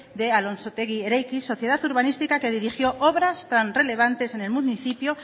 de alonsotegi ereiki sociedad urbanística que dirigió obras tan relevantes en el municipio